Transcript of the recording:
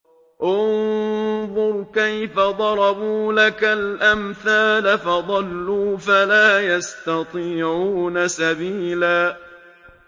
انظُرْ كَيْفَ ضَرَبُوا لَكَ الْأَمْثَالَ فَضَلُّوا فَلَا يَسْتَطِيعُونَ سَبِيلًا